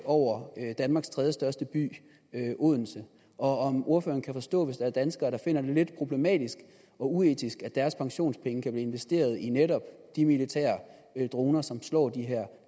over danmarks tredjestørste by odense og om ordføreren kan forstå hvis der er danskere der finder det lidt problematisk og uetisk at deres pensionspenge kan blive investeret i netop de militære droner som slår